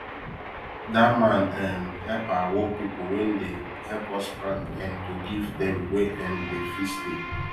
that man um help our work people wen dey help us plant um to give them where um them fit stay